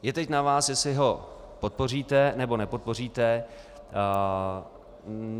Je teď na vás, jestli ho podpoříte, nebo nepodpoříte.